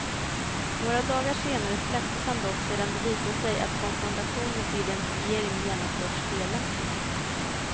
Några dagar senare släpptes han dock sedan det visat sig att konfrontationer för identifiering genomförts felaktigt.